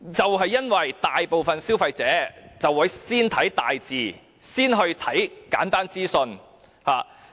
原因是大部分消費者都會先閱讀大型字體及簡單資訊。